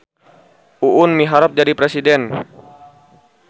Uun miharep jadi presiden